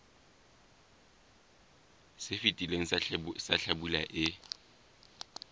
se fetileng sa hlabula e